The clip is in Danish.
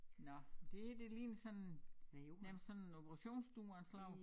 Nåh men det her det ligner sådan nærmest sådan operationsstue af en slags